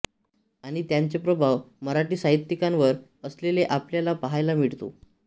आणि त्यांचे प्रभाव मराठी साहित्यिकांवर असलेले आपल्याला पाहायला मिळतो